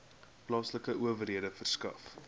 plaaslike owerhede verskaf